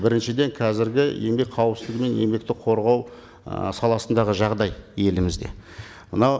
біріншіден қазіргі еңбек қауіпсіздігі мен еңбекті қорғау ы саласындағы жағдай елімізде мынау